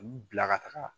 U bila ka taga